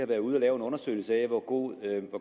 været ude at lave en undersøgelse af hvor